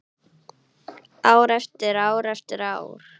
Ár eftir ár eftir ár.